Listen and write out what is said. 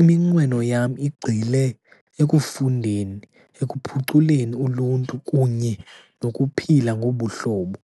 Iminqweno yam igxile ekufundeni, ekuphuculeni uluntu, kunye nokuphila ngobuhlobo.